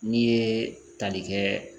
N'i ye tali kɛ